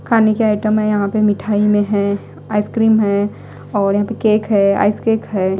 खाने के आइटम है यहां पे मिठाई में है आइसक्रीम है और यहां पे केक है आइस केक है।